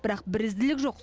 бірақ бірізділік жоқ